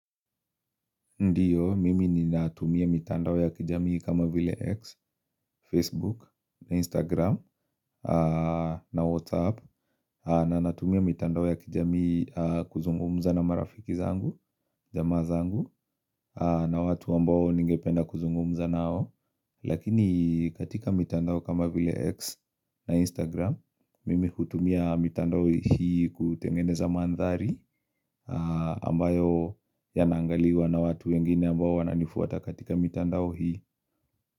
Ndiyo, mimi ninatumia mitandao ya kijamii kama vile X, Facebook, Instagram, na WhatsApp, na natumia mitandao ya kijamii kuzungumza na marafiki zangu, jamaa zangu, na watu ambao ningependa kuzungumza nao. Lakini katika mitandao kama vile X na Instagram Mimi kutumia mitandao hii kutengeneza mandhari ambayo yanaangaliwa na watu wengine ambao wananifuata katika mitandao hii.